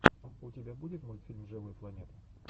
у тебя будет мультфильм живой планеты